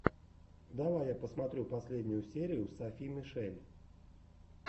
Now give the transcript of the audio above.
давай я посмотрю последнюю серию софи мишель